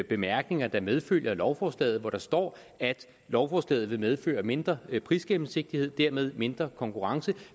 bemærkninger der medfølger lovforslaget og hvor der står at lovforslaget vil medføre mindre prisgennemsigtighed og dermed mindre konkurrence